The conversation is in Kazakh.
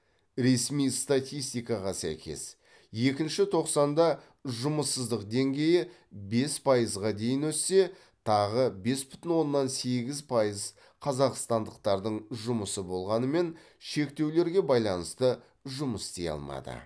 ресми статистикаға сәйкес екінші тоқсанда жұмыссыздық деңгейі бес пайызға дейін өссе тағы бес бүтін оннан сегіз пайыз қазақстандықтардың жұмысы болғанымен шектеулерге байланысты жұмыс істей алмады